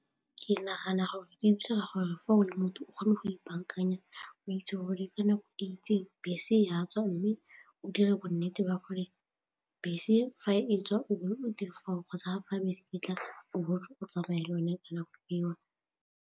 Ke nagana gore di dira gore for le motho o kgone go ipaakanya o itse gore ka nako e itse bese e a tswa mme o dire bo nnete ba gore bese fa e tswa o be o dire foo go tsaya fa bese ke tla botsa o tsamaya le one ka nako eo.